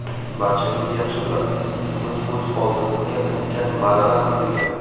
Barchangiz yaxshi bilasiz, bugun o‘z oldimizga ulkan marralar qo‘yganmiz.